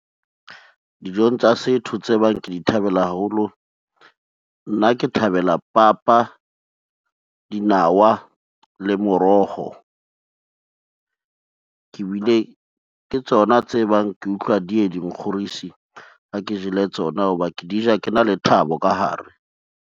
Dijong tsa setho tse bang ke di thabela haholo, nna ke thabela papa, dinawa le moroho. Ke tsona tse bang ke utlwa di ye di nkgorisi ha ke jele tsona, ho ba ke di ja ke na le thabo ka hare.